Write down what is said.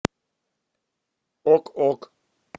ок ок